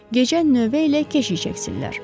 Gecə növbə ilə keşik çəksinlər.